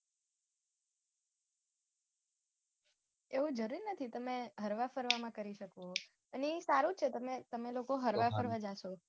એવું જરૂર નથી તમે હરવા ફરવા માં કરી શકો અને એ સારું જ છે તમે તમે લોકો હરવા ફરવા જાસો